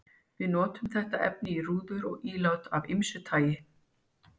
Við notum þetta efni í rúður og ílát af ýmsu tagi.